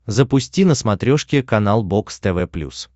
запусти на смотрешке канал бокс тв плюс